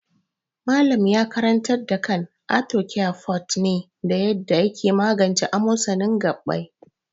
Malam ya karantar da kan arthocare forte ne da yaddaa yake magance amosanin gaɓɓai.